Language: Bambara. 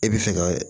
E bɛ fɛ ka